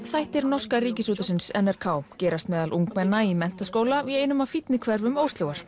þættir norska Ríkisútvarpsins n r k gerast meðal ungmenna í menntaskóla í einum af fínni hverfum